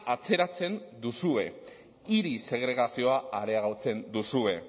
atzeratzen duzue hiri segregazioa areagotzen duzue